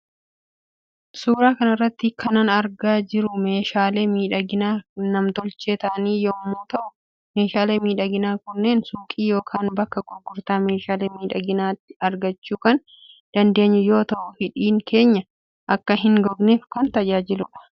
Suura kanarratti kanan argaa jirumeeshaale miidhagina nam tolchee ta'an yommu ta'uu meeshaalee miidhaginaa kunneen suuqi yookaan bakka gurgurtaa meshaale miidhaginati argachuu kan dandeenyu yoo ta'uu hidhiin keenya akka hin gogneef kan tajaajiludha